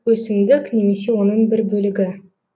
өсімдік немесе оның бір бөлігі